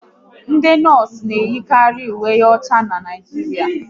Ndị nọọsụ na eyikari uwe ọcha n'Naijiria